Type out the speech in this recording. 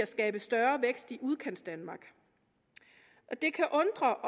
skabe større vækst i udkantsdanmark det kan undre